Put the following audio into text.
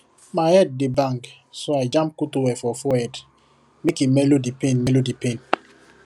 my head dey bang so i jam cool towel for forehead make e mellow the pain mellow the pain